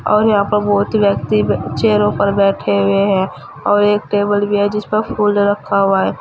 और यहां पर बहुत व्यक्ति बच्चे चेयरों पर बैठे हुए हैं और एक टेबल भी है जिस पर फूल रखा हुआ है।